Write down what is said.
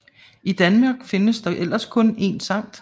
I Danmark findes der ellers kun en Skt